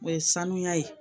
O ye sanuya ye